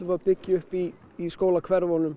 að byggja upp í í